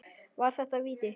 Var þetta víti?